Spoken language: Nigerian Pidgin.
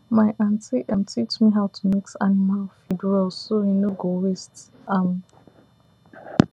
my aunty teach me how to mix animal food well so e no go waste um